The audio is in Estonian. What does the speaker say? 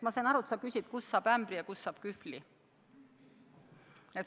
Ma sain aru, et sa küsid, kust saab ämbri ja kust saab kühvli.